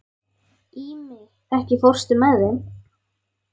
Ími, ekki fórstu með þeim?